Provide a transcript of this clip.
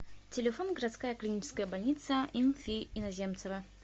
телефон городская клиническая больница им фи иноземцева